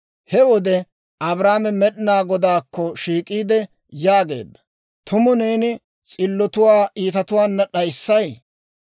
He wode Abrahaame Med'inaa Godaakko shiik'iide yaageedda; «Tumu neeni s'illotuwaa iitatuwaana d'ayssay?